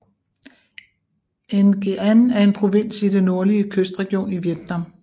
Nghệ An er en provins i den nordlige kystregion i Vietnam